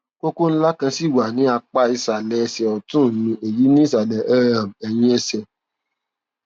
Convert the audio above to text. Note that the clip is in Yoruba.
kókó ńlá kan ṣì wà ní apá ìsàlẹ ẹsẹ ọtún mi èyí ni ìsàlẹ um ẹyìn ẹsẹ